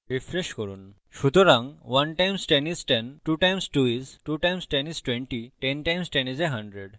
refresh করুন সুতরাং 1 times 10 is 102 times 2 is 2 times 10 is 2010 times 10 is a hundred